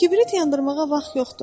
Kibrit yandırmağa vaxt yoxdur.